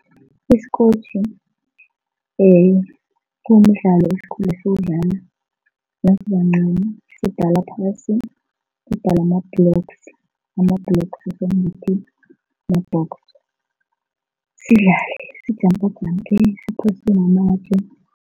Isikotjhi kumdlalo esikhule siwudlala nasibancani, sibhala phasi, sibhala ama-blocks, ama-blocks ma-box, sidlale sijampajampe, siphose namatje.